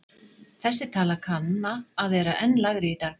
Þessi tala kanna að vera enn lægri í dag.